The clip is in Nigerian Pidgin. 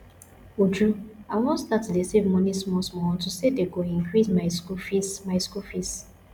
uju i wan start to dey save money small small unto say dey go increase my school fees my school fees